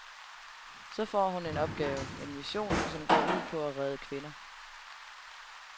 Så får hun en opgave, en mission, som går ud på at redde kvinder.